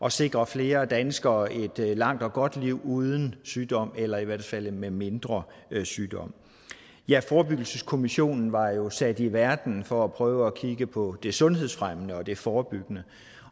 at sikre flere danskere et langt og godt liv uden sygdom eller i hvert fald med mindre sygdom ja forebyggelseskommissionen var jo sat i verden for at prøve at kigge på det sundhedsfremmende og det forebyggende